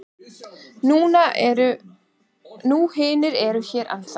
Nú hinir eru hér ennþá.